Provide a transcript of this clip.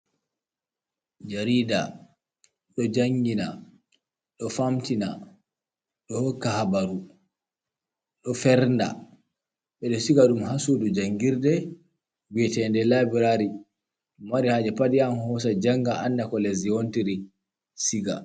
Jarida do jangina, do famtina, do hoka habaru, do fernda, bedo shigadum hasudu jangirde viyatende labrari mo mari haje pad yahan hosa janga annda ko lezdi wontiri siga.